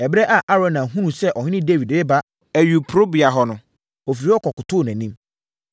Ɛberɛ a Arauna hunuu sɛ ɔhene Dawid reba ayuporobea hɔ no, ɔfiri hɔ kɔkotoo nʼanim.